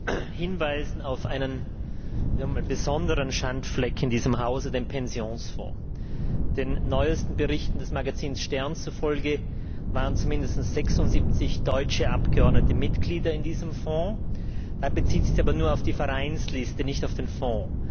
Herr Präsident! Ich möchte hinweisen auf einen besonderen Schandfleck in diesem Hause, den Pensionsfonds. Den neuesten Berichten des Magazins Stern zufolge waren mindestens 76 deutsche Abgeordnete Mitglieder in diesem Fonds. Das bezieht sich aber nur auf die Vereinsliste, nicht auf den Fonds.